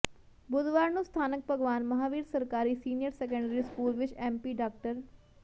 ਬੁੱਧਵਾਰ ਨੂੰ ਸਥਾਨਕ ਭਗਵਾਨ ਮਹਾਂਵੀਰ ਸਰਕਾਰੀ ਸੀਨੀਅਰ ਸੈਕੰਡਰੀ ਸਕੂਲ ਵਿੱਚ ਐੱਮਪੀ ਡਾ